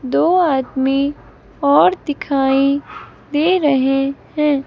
दो आदमी और दिखाई दे रहे हैं।